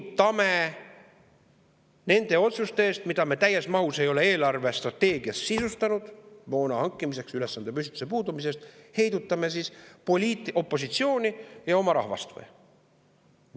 Kas heidutame nende moona hankimise otsuste tõttu, mida me täies mahus ei ole eelarvestrateegias sisustanud, ülesandepüstituse puudumise tõttu poliitopositsiooni ja oma rahvast või?